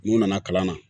N'u nana kalan na